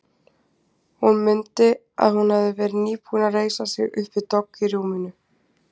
Hún mundi að hún hafði verið nýbúin að reisa sig upp við dogg í rúminu.